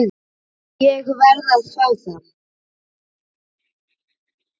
Ég verð að fá það!